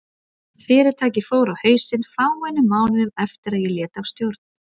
Fyrirtækið fór á hausinn fáeinum mánuðum eftir að ég lét af stjórn.